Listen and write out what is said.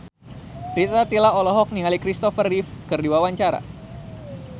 Rita Tila olohok ningali Christopher Reeve keur diwawancara